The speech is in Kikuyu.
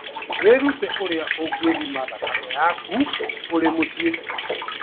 Wĩrute ũrĩa ũngĩthima thakame yaku ũrĩ mũciĩ.